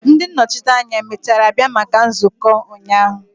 Ndi nnochite anya emechara bia maka nzuko ụnyahụ?